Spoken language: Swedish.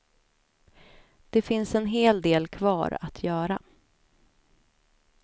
Det finns en hel del kvar att göra.